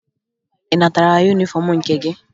Ị natara yunifọmụ nke gị?